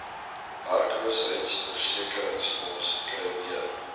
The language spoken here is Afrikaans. werkloosheidsversekeringsfonds kry meer